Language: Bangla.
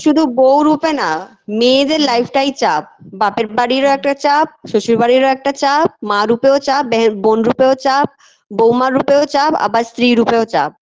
শুধু বউ রূপে না মেয়েদের life টাই চাপ বাপের বাড়িরও একটা চাপ শ্বশুরবাড়িরও একটা চাপ মা রূপেও চাপ বেহেন বোন রুপেও চাপ বৌমা রুপেও চাপ আবার স্ত্রী রূপেও চাপ